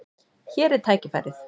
Hér er tækifærið.